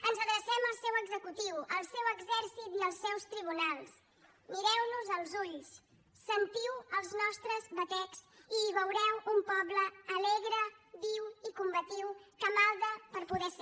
ens adrecem al seu executiu al seu exèrcit i als seus tribunals mireu nos als ulls sentiu els nostres batecs i hi veureu un poble alegre viu i combatiu que malda per poder ser